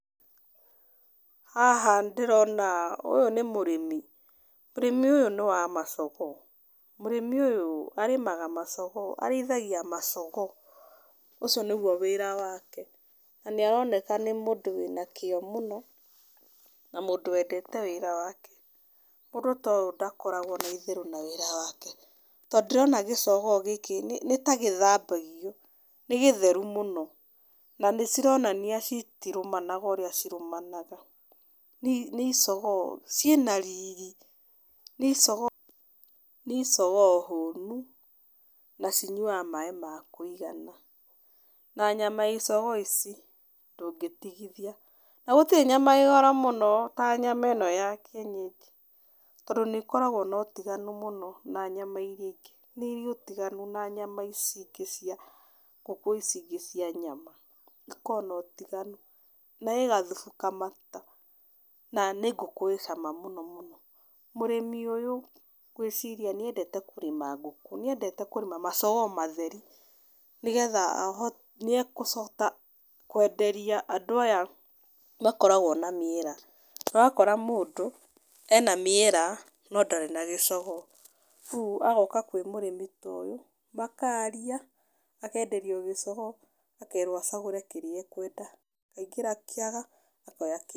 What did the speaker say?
Haha ndĩrona ũyũ nĩ mũrĩmi. Mũrĩmi ũyũ nĩ wa macogoo. Mũrĩmi ũyũ arĩmaga macogoo, arĩithagia macogoo. Ũcio nĩguo wĩra wake, na nĩ aroneka nĩ mũndũ wĩna kĩo mũno, na mũndũ wendete wĩra wake. Mũndũ ta ũyũ ndakoragwo na itherũ na wĩra wake. To ndĩrona gĩcogoo gĩkĩ nĩ nĩ ta gĩthambagio, nĩ gĩtheru mũno. Na nĩ cironania citirũmanaga ũrĩa cirũmanaga. Nĩ icogoo ciĩna riri. Nĩ icogoo nĩ icogoo hũnu, na cinyuaga maĩ ma kũigana. Na nyama ya icogoo ici ndũngĩtigithia. Na gũtirĩ nyama ĩĩ goro mũno ta nyama ĩno ya kĩenyenji, tondũ nĩ ikoragwo na ũtiganu mũno na nyama irĩa ingĩ, nĩ irĩ ũtiganu na nyama ici ingĩ cia ngũkũ ici ingĩ cia nyama. Ikoragwo na ũtiganu. Na ĩĩ gathubu kamata, na nĩ ngũkũ ĩĩ cama mũno. Mũrĩmi ũyũ, ngwĩciria nĩ endete kũrĩma ngũkũ, nĩ endete kũrĩma macogoo matheri nĩgetha ahote nĩ egũcoka kwenderia andũ aya makoragwo na mĩera. Ũrakora mũndũ, ena mĩera, no ndarĩ na gĩcogoo, rĩu agoka kwĩ mũrĩmi ta ũyũ, makaria, agenderio gĩcogoo akerwo acagũre kĩrĩa ekwenda akaingĩra kĩaga, akoya.